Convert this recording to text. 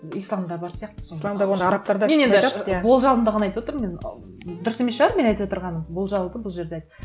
исламда бар сияқты исламда оны арабтар да болжамымды ғана айтып отырмын мен дұрыс емес шығар мен айтып отырғаным болжау да бұл жерде